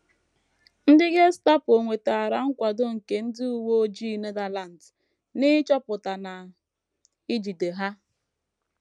Ndị Gestapo nwetara nkwado nke ndị uwe ojii Netherlands n’ịchọpụta na ijide Ha.